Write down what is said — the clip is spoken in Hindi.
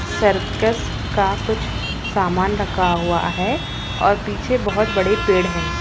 सर्कस का कुछ सामान रखा हुआ है और पीछे बहुत बड़े पेड़ हैं |